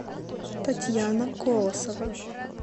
татьяна колосова